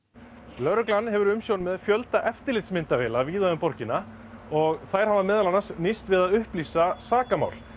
lögreglan hefur umsjón með fjölda eftirlitsmyndavéla víða um borgina og þær hafa meðal annars nýst við að upplýsa sakamál